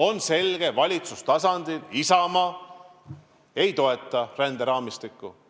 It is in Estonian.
On selge, et valitsustasandil Isamaa ei toeta ränderaamistikku.